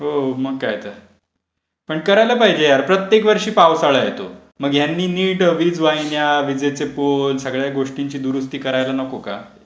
हो मग काय तर. पण करायला पाहिजे यार प्रत्येक वर्षी पावसाळा येतो, मग यांनी नीट वीज वाहिन्या, विजेचे पोल सगळ्या गोष्टीची दुरुस्ती कार्याला नको का?